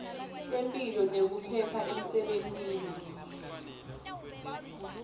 temphilo nekuphepha emsebentini